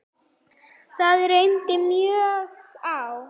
Það reyndi mjög á.